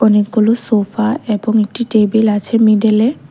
অনেকগুলো সোফা এবং একটি টেবিল আছে মিডিলে।